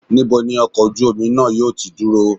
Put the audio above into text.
Níbo ni ọkọ̀ ojú omi náà yóò ti dúró?